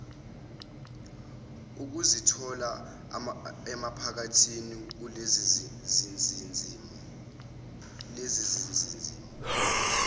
ukuzithola emaphakathi kulezizimo